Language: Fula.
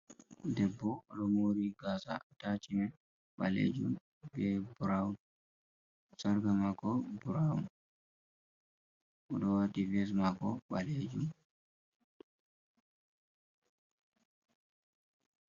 Deɓbo odomori gasa atachimen ɓalejum be brown sarka mako brown, oɗo wati ves mako ɓalejum.